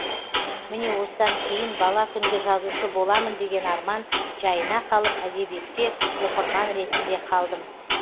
міне осыдан кейін бала күнгі жазушы боламын деген арман жайына қалып әдебиетте оқырман ретінде қалдым